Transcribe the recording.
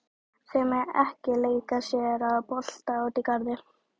Þau mega ekki leika sér að bolta úti í garði.